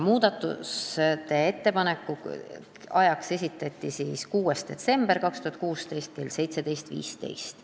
Muudatusettepanekute esitamise tähtajaks määrati siis 6. detsember 2016 kell 17.15.